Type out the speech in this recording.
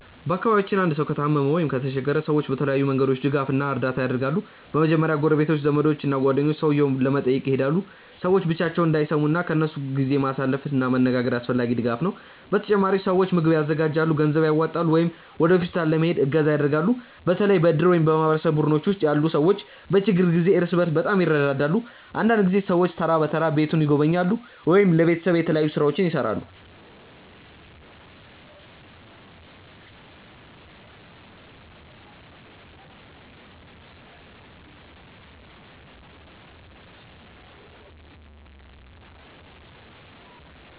በአካባቢያችን አንድ ሰው ከታመመ ወይም ከተቸገረ ሰዎች በተለያዩ መንገዶች ድጋፍ እና እርዳታ ያደርጋሉ። በመጀመሪያ ጎረቤቶች፣ ዘመዶች እና ጓደኞች ሰውየውን ለመጠየቅ ይሄዳሉ። ሰዎች ብቻቸውን እንዳይሰሙ ከእነሱ ጋር ጊዜ ማሳለፍ እና መነጋገር አስፈላጊ ድጋፍ ነው። በተጨማሪም ሰዎች ምግብ ያዘጋጃሉ፣ ገንዘብ ያዋጣሉ ወይም ወደ ሆስፒታል ለመሄድ እገዛ ያደርጋሉ። በተለይ በእድር ወይም በማህበረሰብ ቡድኖች ውስጥ ያሉ ሰዎች በችግር ጊዜ እርስ በርስ በጣም ይረዳዳሉ። አንዳንድ ጊዜ ሰዎች ተራ በተራ ቤቱን ይጎበኛሉ ወይም ለቤተሰቡ የተለያዩ ሥራዎችን ይሠራሉ።